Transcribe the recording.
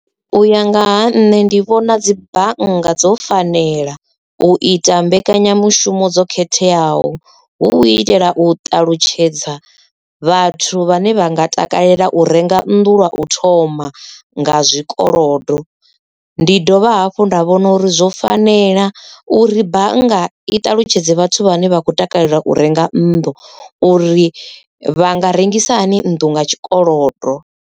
U ya nga ha nṋe ndi vhona dzi bannga dzo fanela u ita mbekanyamushumo dzo khetheaho hu u itela u ṱalutshedza vhathu vhane vha nga takalela u renga nnḓu lwa u thoma nga zwikolodo ndi dovha hafhu nda vhona uri zwo fanela uri bannga i ṱalutshedze vhathu vhane vha khou takalela u renga nnḓu uri vha nga rengisa hani nnḓu nga tshikolodo.